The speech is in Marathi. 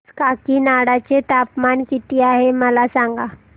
आज काकीनाडा चे तापमान किती आहे मला सांगा